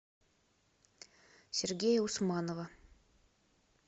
сергея усманова